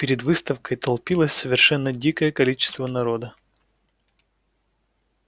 перед выставкой толпилось совершенно дикое количество народа